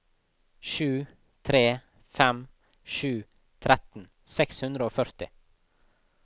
sju tre fem sju tretten seks hundre og førti